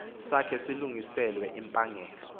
sakhe silungiselelwe impangelo